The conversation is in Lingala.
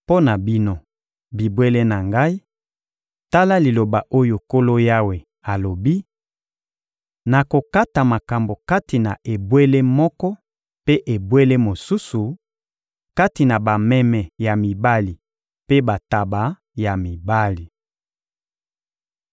Mpo na bino, bibwele na Ngai, tala liloba oyo Nkolo Yawe alobi: Nakokata makambo kati na ebwele moko mpe ebwele mosusu, kati na bameme ya mibali mpe bantaba ya mibali.